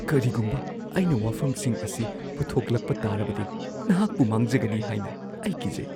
ꯀꯔꯤꯒꯨꯝꯕ ꯑꯩꯅ ꯋꯥꯐꯝꯁꯤꯡ ꯑꯁꯤ ꯄꯨꯊꯣꯛꯂꯛꯄ ꯇꯥꯔꯕꯗꯤ ꯅꯍꯥꯛꯄꯨ ꯃꯥꯡꯖꯒꯅꯤ ꯍꯥꯏꯅ ꯑꯩ ꯀꯤꯖꯩ꯫